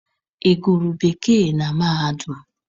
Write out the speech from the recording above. Ị gụrụ Bekee na mahadum?